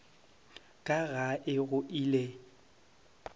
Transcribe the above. ka ga e go ile